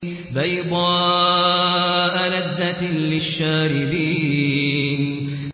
بَيْضَاءَ لَذَّةٍ لِّلشَّارِبِينَ